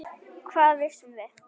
Hvað vissum við?